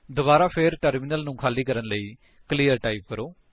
ਦੁਬਾਰਾ ਫੇਰ ਟਰਮਿਨਲ ਨੂੰ ਖਾਲੀ ਕਰਨ ਲਈ ਕਲੀਅਰ ਟਾਈਪ ਕਰੋ